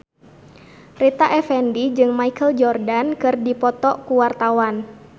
Rita Effendy jeung Michael Jordan keur dipoto ku wartawan